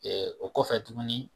Ɛɛ o kɔfɛ tuguni